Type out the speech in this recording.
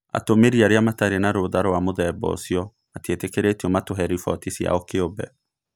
Atũmĩri arĩa matarĩ na rũtha rwa mũthemba ũcio matiĩtĩkĩrĩtio matuhe rifoti ciao kĩũmbe.